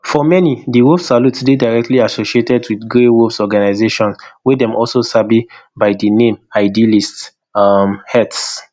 for many di wolf salute dey directly associated wit grey wolves organisation wey dem also sabi by di name idealist um hearths